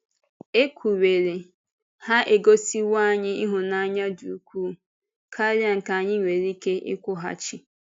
È kwuwerị, ha egosíwò anyị hụ́nanya dị ukwuu kàrà ka anyị nwere ike ịkwụghachi.